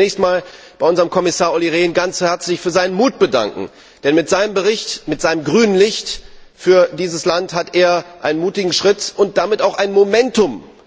Ich möchte mich zunächst bei unserem Kommissar Olli Rehn ganz herzlich für seinen Mut bedanken, denn mit seinem Bericht, mit seinem grünen Licht für dieses Land, hat er einen mutigen Schritt und damit auch ein